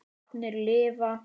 Látnir lifa